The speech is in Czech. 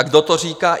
A kdo to říká?